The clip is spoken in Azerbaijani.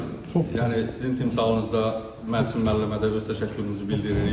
Yəni sizin timsalınızda Məhsud müəllimə də öz təşəkkürümüzü bildiririk.